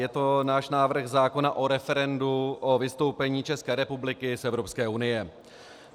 Je to náš návrh zákona o referendu o vystoupení České republiky z Evropské unie.